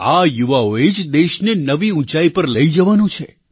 આ યુવાઓએ જ દેશને નવી ઊંચાઈ પર લઈ જવાનો છે